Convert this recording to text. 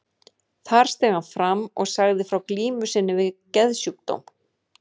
Þar steig hann fram og sagði frá glímu sinni við geðsjúkdóm.